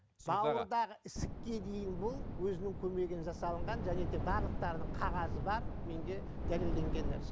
бауырдағы ісікке дейін бұл өзінің көмегімен жасалынған және де барлықтарының қағазы бар менде дәлелденген нәрсе